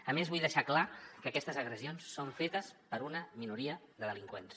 a més vull deixar clar que aquestes agressions són fetes per una minoria de delinqüents